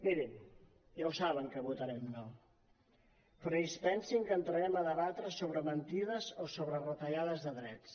mirin ja ho saben que votarem no però ni es pensin que entrarem a debatre sobre mentides o sobre retallades de drets